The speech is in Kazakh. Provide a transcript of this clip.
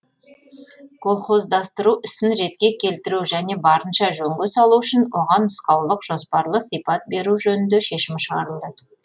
колхоздастыру ісін ретке келтіру және барынша жөнге салу үшін оған нұсқаулық жоспарлы сипат беру жөнінде шешім шығарылды